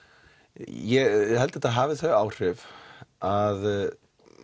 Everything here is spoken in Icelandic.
ég held þetta hafi þau áhrif að